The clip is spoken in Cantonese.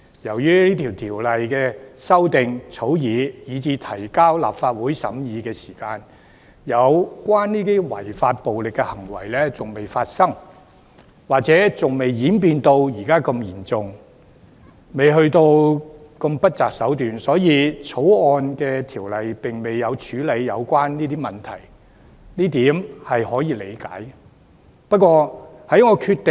由於草擬《條例草案》以至提交立法會審議之時，有關的違法暴力行為仍未發生，或者尚未演變成如此嚴重，未至於不擇手段，因此《條例草案》的條文並未處理有關問題，這是可以理解的。